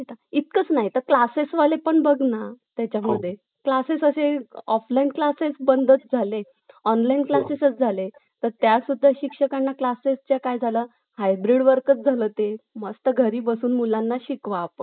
चंद्रशेखर आझाद यांच्याबद्दल आणखी काही सांगा एकोणीशे एकवीस मध्ये महात्मा गांधी असं असहकार चळवळ सुरु केली त्याला हे चंद्रशेखर सोळा वर्षांचे सोळा वर्षांचे होते परंतु त्यांची